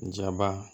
Jaba